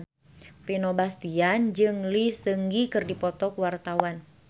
Vino Bastian jeung Lee Seung Gi keur dipoto ku wartawan